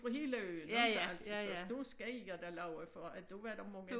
Fra hele øen inte altså så der skal jeg da love for at der var der mange